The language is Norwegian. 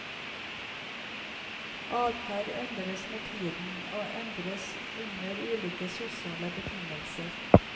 Adferd endres med tiden, og endres under ulike sosiale betingelser.